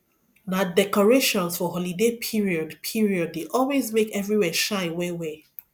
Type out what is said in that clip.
na decorations for holiday period period dey always make everywhere shine well well